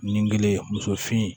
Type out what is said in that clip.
Nin kelen muso fin